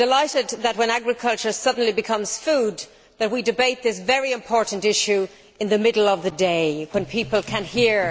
I am delighted that when agriculture suddenly becomes food, we debate this very important issue in the middle of the day when people can hear.